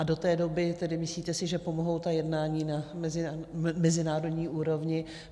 A do té doby tedy, myslíte si, že pomohou ta jednání na mezinárodní úrovni?